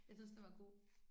Jeg synes, den var god